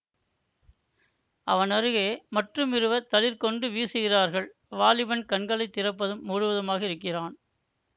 அவனருகே மற்றுமிருவர் தளிர் கொண்டு வீசுகிறார்கள் வாலிபன் கண்களை திறப்பதும் மூடுவதுமாக இருக்கிறான்